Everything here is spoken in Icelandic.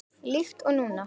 Líkt og núna.